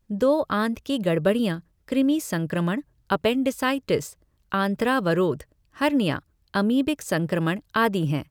दो. आंत की गड़बड़ियाँ कृमि संक्रमण, एपेन्डिसाइटिस, आंत्रावरोध, हर्निया, अमीबिक संक्रमण, आदि हैं।